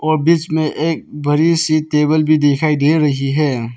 और बीच में एक बड़ी सी टेबल भी दिखाई दे रही है।